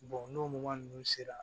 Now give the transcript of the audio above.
n'o mɔ ninnu sera